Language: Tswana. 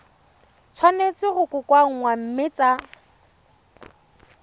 tshwanetse go kokoanngwa mme tsa